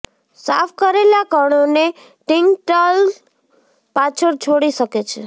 સાફ કરેલા કણોને ટિંટલ્ટ પાછળ છોડી શકે છે